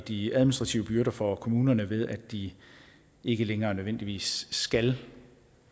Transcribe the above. de administrative byrder for kommunerne ved at de ikke længere nødvendigvis skal